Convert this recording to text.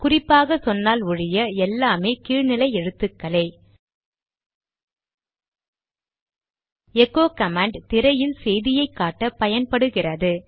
குறிப்பாக சொன்னால் ஒழிய எல்லாம் கீழ் நிலை எழுத்துக்களே எகோ கமாண்ட் திரையில் செய்தியை காட்ட பயன்படுகிறது